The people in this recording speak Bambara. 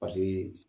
Paseke